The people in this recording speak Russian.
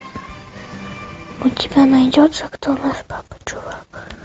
у тебя найдется кто наш папа чувак